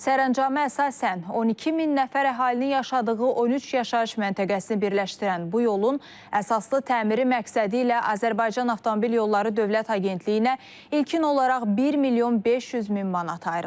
Sərəncama əsasən 12 min nəfər əhalinin yaşadığı 13 yaşayış məntəqəsini birləşdirən bu yolun əsaslı təmiri məqsədilə Azərbaycan Avtomobil Yolları Dövlət Agentliyinə ilkin olaraq 1 milyon 500 min manat ayrılıb.